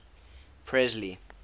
presley